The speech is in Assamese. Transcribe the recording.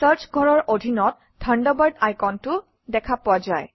চাৰ্চ ঘৰৰ অধীনত থাণ্ডাৰবাৰ্ড আইকনটো দেখা পোৱা যায়